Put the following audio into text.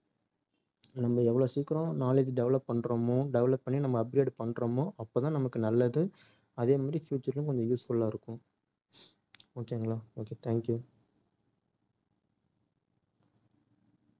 நம்ம எவ்வளவு சீக்கிரம் knowledge develop பண்றோமோ develop பண்ணி நம்ம upgrade பண்றோமோ அப்பதான் நமக்கு நல்லது. அதே மாதிரி future லயும் கொஞ்சம் useful ஆ இருக்கும் okay ங்களா okay thank you